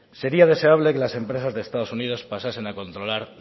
sería deseable que las empresas de estados unidos pasasen a controlar